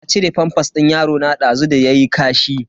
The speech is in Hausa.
Na cire famfas din yarona dazu da yayi kashi.